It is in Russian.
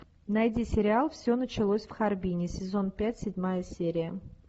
найди сериал все началось в харбине сезон пять седьмая серия